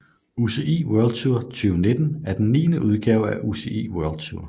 UCI World Tour 2019 er den niende udgave af UCI World Tour